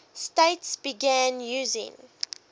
states began using